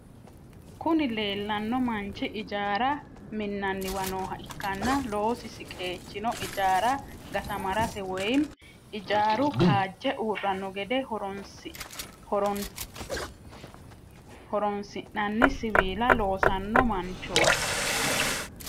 Kuni lelano manchi ijara minaniwa nooha ikana loosisi qechino ijara gatamarate woyim ijaru kajje urano gede horonisinani siwila loosano manchoti